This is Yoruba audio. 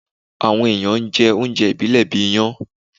Awọn èèyàn n jẹ oúnjẹ ìbílẹ̀ bíi iyán.